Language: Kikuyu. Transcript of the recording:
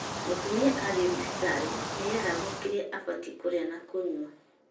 Mũtumia athiĩ thibitarĩ ni eragwo kĩrĩa abatie kũrĩa na kũnywa